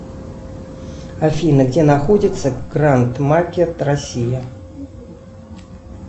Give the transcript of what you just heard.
афина где находится гранд макет россия